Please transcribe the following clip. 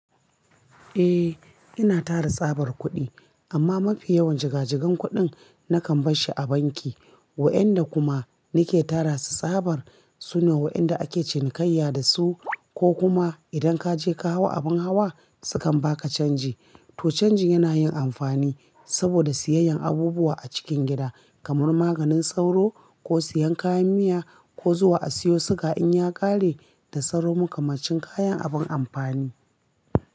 Eh, ina tara tsabar kuɗi amma mafi yawan jiga-jigan kuɗin nakan bas shi a banki. Wa'anda kuma nike tara su tsabar su ne wa'andar ake cinikayya da su ko kuma idan kaje ka hau abin hawa sukan baka canji. To canjin yana yin amfani saboda siyayyan abubuwa a cikin gida kamar maganin sauro ko siyan kayan miya ko zuwa a siyo suga in ya ƙare da sauro makamancin kayan abin amfani.